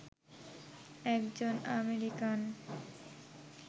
একজন আমেরিকান